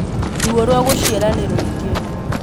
Ruo rwa gūciara nīrūingī